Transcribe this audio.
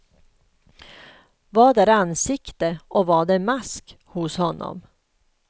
Vad är ansikte och vad är mask hos honom?